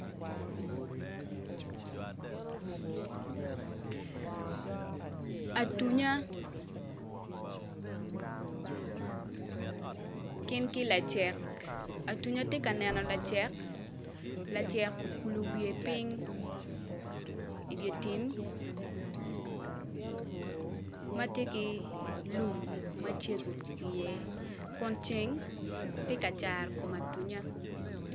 Atunya gin ki lacek atunya tye ka neno lacek okulu wiye piny i dye tim ma tye ki lum ma cego kun ceng tye ka caro kom atunya.